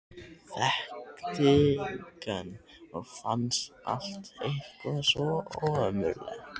Þekkti engan og fannst allt eitthvað svo ömurlegt.